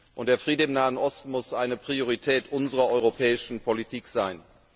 Und der Friede im Nahen Osten muss eine Priorität unserer europäischen Politik sein.